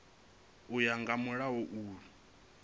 u ya nga mulayo uyu